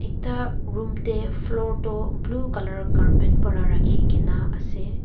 ekta room teh floor toh blue colour carpet para rakhigena ase.